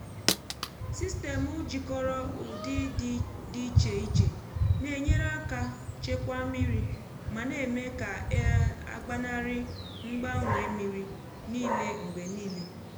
sistemụ jikọrọ ụdị dị iche iche na-enyere aka chekwaa mmiri ma na-eme ka e gbanarị ịgbanwe mmiri niile mgbe niile.